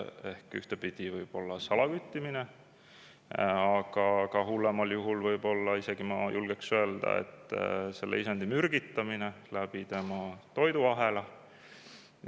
Ehk ühtepidi võib olla salaküttimine, aga hullemal juhul isegi, ma julgeks öelda, selle mürgitamine tema toiduahela kaudu.